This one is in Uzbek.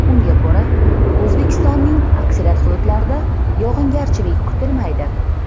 Unga ko‘ra, O‘zbekistonning aksariyat hududlarida yog‘ingarchilik kutilmaydi.